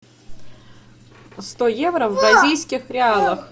сто евро в бразильских реалах